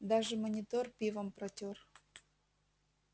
даже монитор пивом протёр